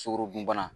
Sukorodunbana